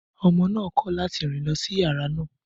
Ọmọ náà kọ̀ láti rìn lọ sí yàrá náà.